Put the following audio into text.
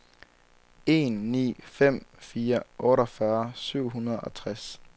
en ni fem fire otteogfyrre syv hundrede og tres